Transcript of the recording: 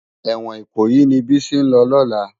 Èwòn Ikoyi ni Bisi n lò lòlá